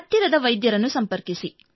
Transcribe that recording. ಹತ್ತಿರದ ವೈದ್ಯರನ್ನು ಸಂಪರ್ಕಿಸಿ